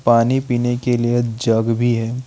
पानी पीने के लिए जग भी है।